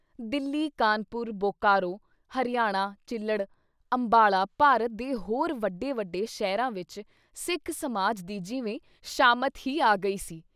ਦਿੱਲੀ, ਕਾਨ੍ਹਪੁਰ, ਬੋਕਾਰੋ, ਹਰਿਆਣਾ ਚਿੱਲੜ, ਅੰਬਾਲਾ ਭਾਰਤ ਦੇ ਹੋਰ ਵੱਡੇ-ਵੱਡੇ ਸ਼ਹਿਰਾਂ ਵਿੱਚ ਸਿੱਖ ਸਮਾਜ ਦੀ ਜਿਵੇਂ ਸ਼ਾਮਿਤ ਹੀ ਆ ਗਈ ਸੀ।